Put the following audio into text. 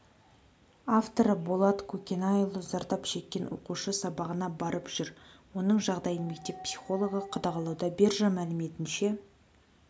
авторы болат көкенайұлы зардап шеккен оқушы сабағына барып жүр оның жағдайын мектеп психологы қадағалауда биржа мәліметінше